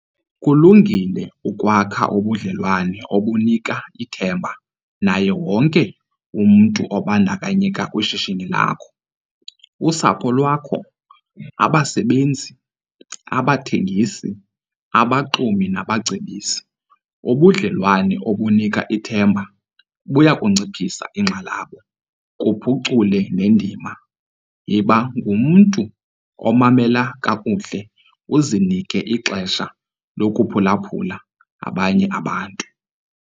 Kulungile ukwakha ubudlelwane obunika ithemba naye wonke umntu obandakanyeka kwishishini lakho - usapho lwakho, abasebenzi, abathengisi, abaxumi nabacebisi. Ubudlelwane obunika ithemba buya kunciphisa inkxalabo kuphucule nendima. Yiba ngumntu omamela kakuhle uzinike ixesha lokuphulaphula abanye abantu.